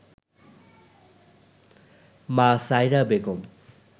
মা সায়রা বেগম